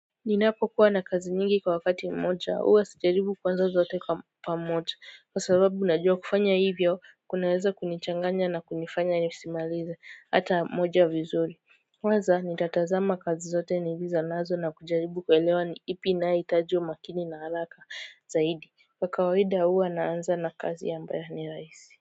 Ninapokuwa na kazi nyingi kwa wakati mmoja huwa sijaribu kuanza zote kwa pamoja kwa sababu najua kufanya hivyo kunaweza kunichanganya na kunifanya nisimalize hata moja vizuri kwanza nitatazama kazi zote nilizo nazo na kujaribu kuelewa ni ipi inayohitaji umakini na haraka zaidi kwa kawaida huwa naanza na kazi ambayo ni rahisi.